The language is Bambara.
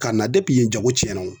Ka na yen jago cɛn na wo.